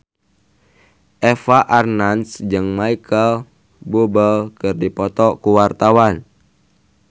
Eva Arnaz jeung Micheal Bubble keur dipoto ku wartawan